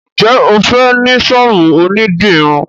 njé o fè ní sọ́ọ̀bù òní dirun.